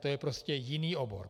To je prostě jiný obor.